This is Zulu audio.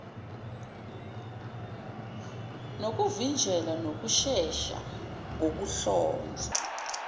nokuvinjelwa nokushesha kokuhlonzwa